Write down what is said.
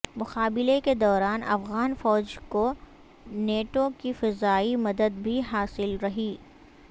مقابلے کے دوران افغان فوج کو نیٹو کی فضائی مدد بھی حاصل رہی